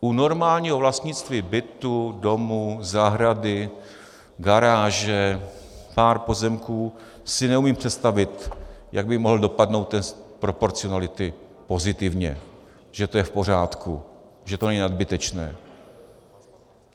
U normálního vlastnictví bytu, domu, zahrady, garáže, pár pozemků si neumím představit, jak by mohl dopadnout test proporcionality pozitivně, že to je v pořádku, že to není nadbytečné.